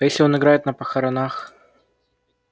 а если он играет на похоронах